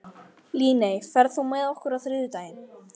Líney, ferð þú með okkur á þriðjudaginn?